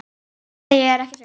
Nei, ég var ekki svöng.